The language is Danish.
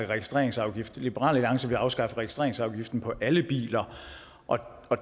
registreringsafgift liberal alliance vil afskaffe registreringsafgiften på alle biler og